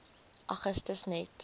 augustus net